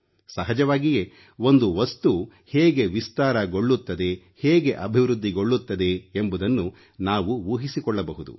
ಸಹಜವಾಗಿಯೇ ಒಂದು ವಸ್ತು ಹೇಗೆ ವಿಸ್ತಾರಗೊಳ್ಳುತ್ತದೆ ಹೇಗೆ ಅಭಿವೃದ್ಧಿಗೊಳ್ಳುತ್ತದೆ ಎಂಬುದನ್ನು ನಾವು ಊಹಿಸಿಕೊಳ್ಳಬಹುದು